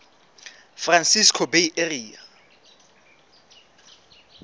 francisco bay area